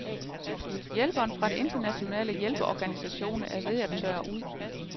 Hjælpen fra de internationale hjælpeorganisationer er ved at tørre ud.